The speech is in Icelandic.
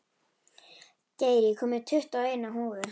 Geir, ég kom með tuttugu og eina húfur!